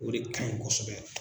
O de kan ɲi kosɛbɛ.